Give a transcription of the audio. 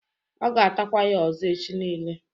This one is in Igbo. Ọ ga-atakwa ya ọzọ echi nile